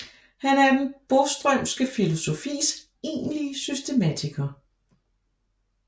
Han er den Boströmske filosofis egentlige systematiker